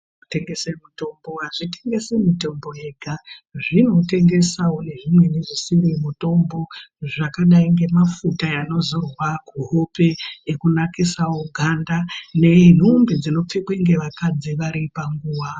Tengese mutombo azvitengesi mutombo yega zvinotengesawo nezvimweni zvisiri mutombo zvakadai ngemafuta anozorwa kuhope ekunakisawo ganda nentumbi dzinopfekwe ngevakadzi varipanguwa.